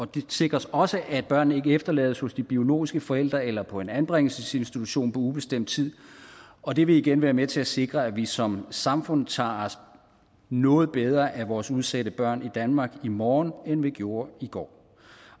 det sikres også at børnene ikke efterlades hos de biologiske forældre eller på en anbringelsesinstitution på ubestemt tid og det vil igen være med til at sikre at vi som samfund tager os noget bedre af vores udsatte børn i danmark i morgen end vi gjorde i går